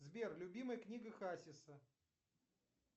сбер любимая книга хасиса